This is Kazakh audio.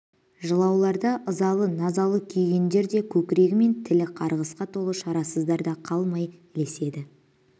жылаулар да ызалы назалы күйгендер де көкірегі мен тілі қарғысқа толы шарасыздар да қалмай ілеседі